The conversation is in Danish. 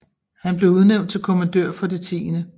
Han blev udnævnt til kommandør for det 10